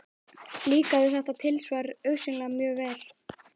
Líkaði þetta tilsvar augsýnilega mjög vel.